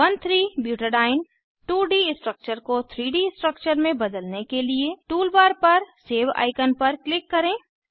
13 butadiene 2 D structure को 3 D structure में बदलने के लिए टूल बार पर सेव आईकन पर क्लिक करें